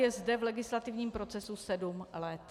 Je zde v legislativním procesu sedm let.